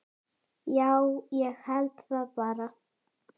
Já, ég held það bara.